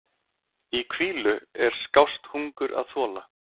Í hvílu er skást hungur að þola.